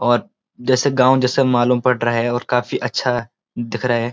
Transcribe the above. और जैसे गांव जैसे मालूम पड़ रहा है और काफी अच्छा दिख रहा है।